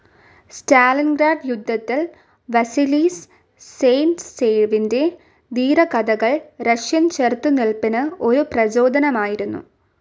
Stalingrad യുദ്ധത്തിൽ വസീലി സൈറ്റ്സേവിന്റെ ധീരകഥകൾ റഷ്യൻ ചെറുത്തുനിൽപ്പിന് ഒരു പ്രചോദനമായിരുന്നു